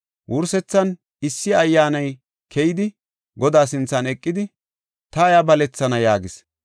Wursethan issi ayyaani keyidi Godaa sinthan eqidi, ‘Ta iya balethana’ ” yaagis.